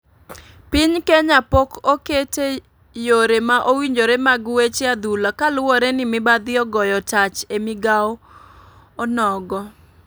Piny kenya pok okete yore ma owinjore mag weche adhula kaluwore ni mibadhi ogoyo tach e migao onogo.